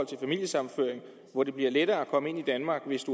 til familiesammenføring hvor det bliver lettere at komme ind i danmark hvis